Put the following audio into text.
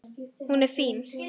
Hún er fín.